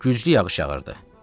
Güclü yağış yağırdı.